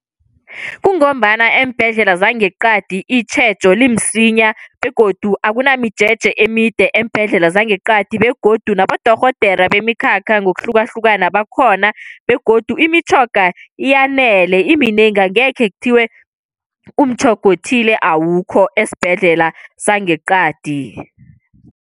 Kungombana eembhedlela zangeqadi itjhejo limsinya begodu akunamijeje emide eembhedlela zangeqadi, begodu nabodorhodere bemikhakha ngokuhlukahlukana bakhona. Begodu imitjhoga yanele iminengi, angekhe kuthiwe umtjhoga othile awukho esibhedlela sangeqadi.